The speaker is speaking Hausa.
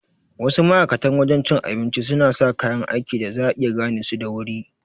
Wasu ma'aikatan wajan cin abincin suna sa kaya aiki da za'a iya gane su da wuri